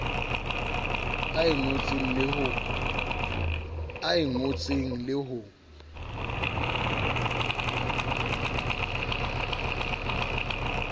a e ngotseng le ho